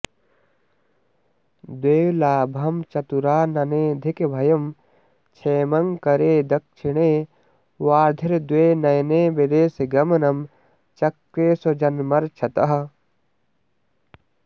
द्वे लाभं चतुराननेऽधिकभयं क्षेमंकरे दक्षिणे वार्द्धिर्द्वे नयने विदेशगमनं चक्रे स्वजन्मर्क्षतः